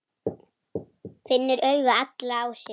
Finnur augu allra á sér.